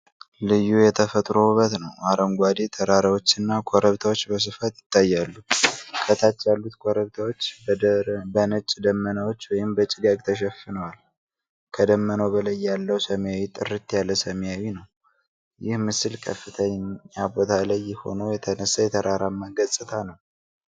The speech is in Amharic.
ልዩ የተፈጥሮ ውበት ነው። አረንጓዴ ተራራዎችና ኮረብታዎች በስፋት ይታያሉ። ከታች ያሉት ኮረብታዎች በነጭ ደመናዎች ወይም በጭጋግ ተሸፍነዋል። ከደመናው በላይ ያለው ሰማይ ጥርት ያለ ሰማያዊ ነው። ይህ ምስል ከፍተኛ ቦታ ላይ ሆኖ የተነሳ የተራራማ ገጽታ ነው።